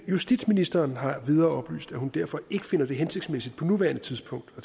justitsministeren har endvidere oplyst at hun derfor ikke finder det hensigtsmæssigt på nuværende tidspunkt at